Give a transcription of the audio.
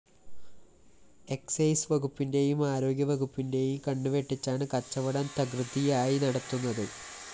excise വകുപ്പിന്റെയും ആരോഗ്യ വകുപ്പിന്റെയും കണ്ണുവെട്ടിച്ചാണ് കച്ചവടം തകൃതിയായി നടത്തുന്നത്